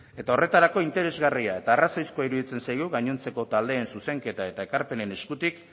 eta horretarako interesgarria eta arrazoizkoa iruditzen zaigu gainontzeko taldeen zuzenketa eta ekarpenen eskutik